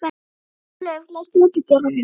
Ólöf, læstu útidyrunum.